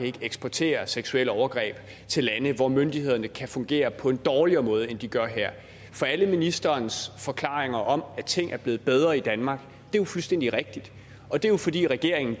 ikke eksporterer seksuelle overgreb til lande hvor myndighederne kan fungere på en dårligere måde end de gør her for alle ministerens forklaringer om at ting er blevet bedre i danmark er fuldstændig rigtige og det er jo fordi regeringen